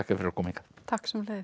fyrir að koma hingað takk sömuleiðis